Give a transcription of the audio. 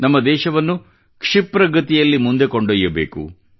ನಮ್ಮ ದೇಶವನ್ನು ಕ್ಷಿಪ್ರ ಗತಿಯಿಂದ ಮುಂದೆ ಕೊಂಡೊಯ್ಯಬೇಕು